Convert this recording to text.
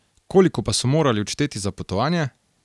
Koliko pa so morali odšteti za potovanje?